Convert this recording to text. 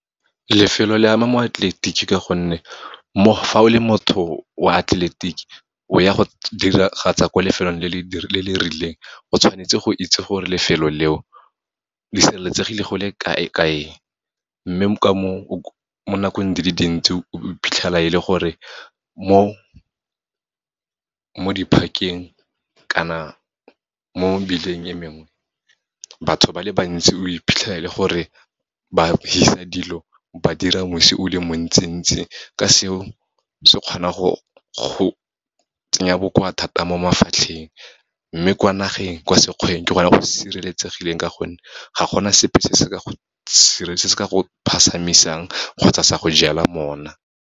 Lefelo le ama moatleletiki ka gonne, fa o le motho wa atleletiki o ya go diragatsa ko lefelong le le rileng, o tshwanetse go itse gore lefelo leo le sireletsegile go le kae-kae. Mme mo nakong di le dintsi, o iphitlhela e le gore mo di-park-eng kana mo mebileng e mengwe, batho ba le bantsi o iphitlhela e le gore ba fisa dilo, ba dira mosi o le montsi ntsi, ka seo se kgona go tsenya bokoa thata mo mafatlheng. Mme kwa nageng, kwa sekgweng ke gona go sireletsegileng ka gonne ga gona sepe se se ka go kgotsa sa go jela mona.